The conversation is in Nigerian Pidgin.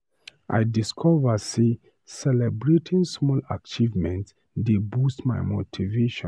I discover sey celebrating small achievements dey boost my motivation.